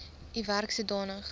u werk sodanig